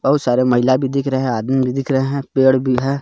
बहुत सारे महिला भी दिख रहे हैं आदमी भी दिख रहे है पेड़ भी है.